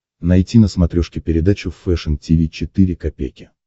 найти на смотрешке передачу фэшн ти ви четыре ка